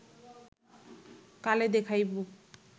কালে দেখাইব